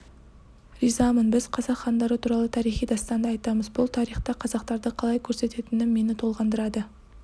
ризамын біз қазақ хандары туралы тарихи дастанды айтамыз бұл тарихта қазақтарды қалай көрсететінім мені толғандырады